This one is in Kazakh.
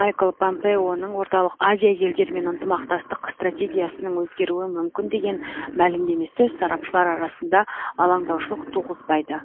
майкл помпеоның орталық азия елдерімен ынтымақтастық стратегиясының өзгеруі мүмкін деген мәлімдемесі сарапшылар арасында алаңдаушылық туғызбайды